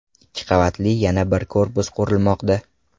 Ikki qavatli yana bir korpus qurilmoqda.